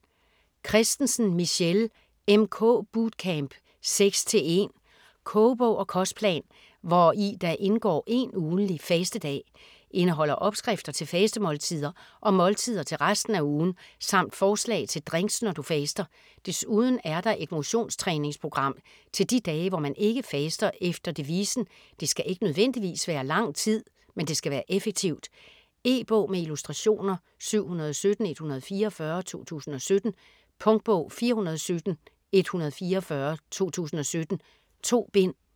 Kristensen, Michelle: MK bootcamp 6:1 Kogebog og kostplan, hvor i der indgår én ugentlig fastedag. Indeholder opskrifter til fastemåltider og måltider til resten af ugen, samt forslag til drinks når du faster. Desuden er der et motions-træningsprogram til de dage, hvor man ikke faster efter devisen: det skal ikke nødvendigvis være lang tid, men det skal være effektivt. E-bog med illustrationer 717144 2017. Punktbog 417144 2017. 2 bind.